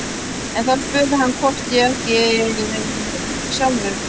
En þá spurði hann hvort ég æki ekki sjálfur.